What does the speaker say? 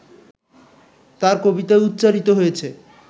তাঁর কবিতায় উচ্চারিত হয়েছে